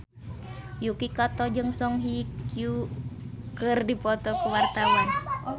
Yuki Kato jeung Song Hye Kyo keur dipoto ku wartawan